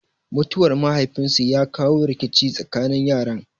Mutuwar mahaifin su ya kawo rikici tsakanin yaran.